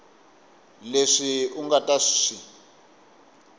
leswi u nga ta swi